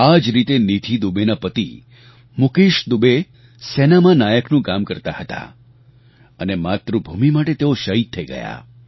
આ જ રીતે નીધિ દુબેના પતિ મૂકેશ દુબે સેનામાં નાયકનું કામ કરતા હતા અને માતૃભૂમિ માટે તેઓ શહીદ થઈ ગયા